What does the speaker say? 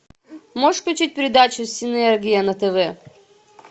можешь включить передачу синергия на тв